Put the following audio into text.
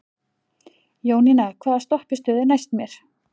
Jónína, hvaða stoppistöð er næst mér?